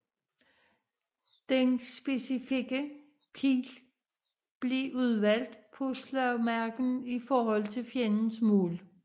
Den specifikke pil blev udvalgt på slagmarken i forhold til fjendens mål